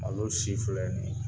Ale si filɛ nin ye.